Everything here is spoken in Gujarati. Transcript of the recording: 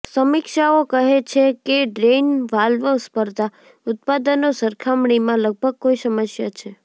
સમીક્ષાઓ કહે છે કે ડ્રેઇન વાલ્વ સ્પર્ધા ઉત્પાદનો સરખામણીમાં લગભગ કોઈ સમસ્યા છે